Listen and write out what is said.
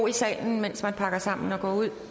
i salen mens man pakker sammen og går ud